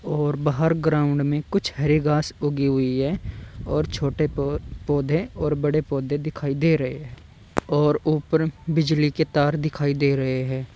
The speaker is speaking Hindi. और बाहर ग्राउंड में कुछ हरे घास उगी हुई है और छोटे पौधे और बड़े पौधे दिखाई दे रहे हैं और ऊपर बिजली के तार दिखाई दे रहे हैं।